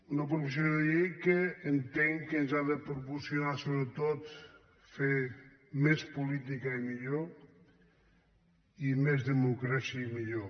una proposició de llei que entenc que ens ha de proporcionar sobretot fer més política i millor i més democràcia i millor